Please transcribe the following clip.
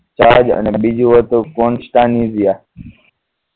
જહાજ અને બીજું હતું કોન્સ્ટાનિઝિયા